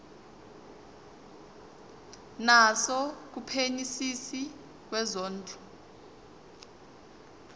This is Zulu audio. naso kumphenyisisi wezondlo